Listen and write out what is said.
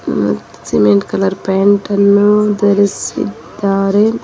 Cement colour paint ಅನ್ನು ಧರಿಸಿದ್ದಾರೆ.